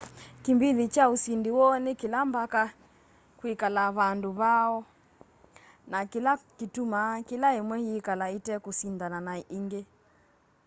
kĩmbĩthĩ kya ũsĩndĩ woo nĩ kĩla mbaka kwĩkala vando vayo na kĩla kĩtũmaa kĩla ĩmwe yĩkala ĩtekũsĩndana na ĩngĩ